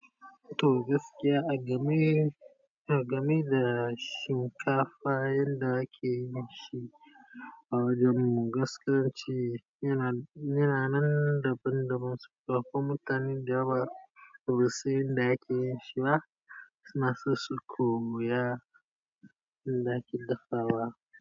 To gaskiya agame agame da shinkafa yanda ake yin shi a wajanmu gaskiya in ce yana, yana nan daban daban sannan akwai mutane dayawa basu san inda ake yin shi ba, suna so su koya inda ake dafawa.